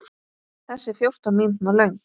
Þessi er fjórtán mínútna löng.